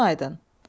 Gözün aydın.